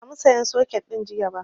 Ban sa mu sayan soket ɗin jiya ba